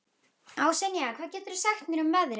Ásynja, hvað geturðu sagt mér um veðrið?